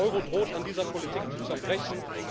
Der Euro droht an dieser Politik zu zerbrechen.